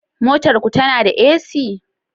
Motar ku tana da AC?